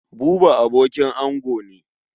Buba abokin ango ne.